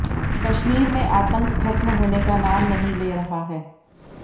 कश्मीर में आतंक खत्म होने का नाम नहीं ले रहा है